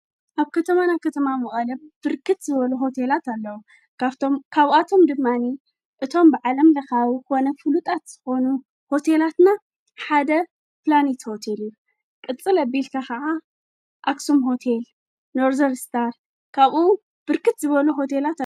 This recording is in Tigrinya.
ኣብ ከተማና ኸተማ መዓለም ብርክት ዝበሉ ሆቴላት ኣለዉ ካብቶም ካብኣቶም ድማኒ እቶም ብዓለም ለኻዊ ኾነ ፍሉጣት ኾኑ ሆቴላትና ሓደ ፕላኔት ሆቴል ቕጽል ኣቢልካ ኸዓ ኣስም ሆቴል ኖርዘር ስዳር ካብኡ ብርክት ዝበሉ ኣለዎ።